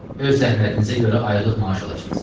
Öz zəhmətinizə görə aylıq maaş alacaqsız.